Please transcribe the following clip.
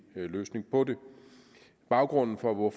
løsning på det baggrunden for at